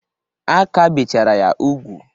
A ka bechara ya ugwu.